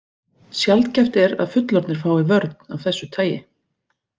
Sjaldgæft er að fullorðnir fái vörn af þessu tagi.